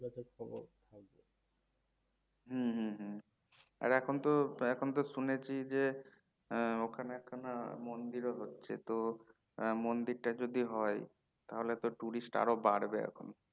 হম হম হম আর এখন তো এখন তো শুনেছি যে হম ওখানে একখানা মন্দিরও রয়েছে তো মন্দিরটা যদি হয় তাহলে তো tourist বাড়বে এখন